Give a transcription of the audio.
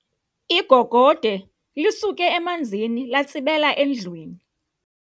Igogode lisuke emanzini latsibela endlwini.